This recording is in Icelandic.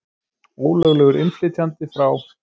Ólöglegur innflytjandi frá